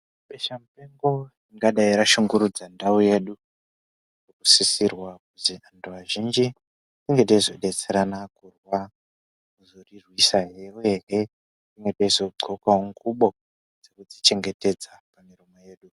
Besha mupengo ringadai rashungurudza ndau yedu rinosisirwa kuti vantu vazhinji tinge teizodetserana kurwa kuzorirwasahe uyehe tinge teizodxokawo ngubo dzeku dzichengetedza panyama yedu.